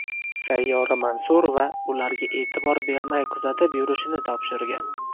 Sayyora Mansurova ularga e’tibor bermay kuzatib yurishini topshirgan.